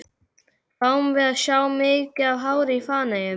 Fáum við að sjá mikið af hári í Feneyjum?